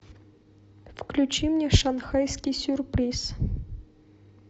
включи мне шанхайский сюрприз